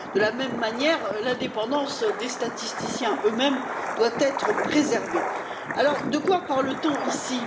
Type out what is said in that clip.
De la même manière, l'indépendance des statisticiens eux mêmes doit être préservée. De quoi parle t on ici?